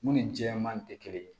Mun ni jɛman tɛ kelen ye